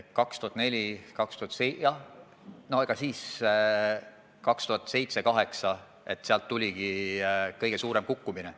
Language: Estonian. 2007. ja 2008. aastal tuligi kõige suurem kukkumine.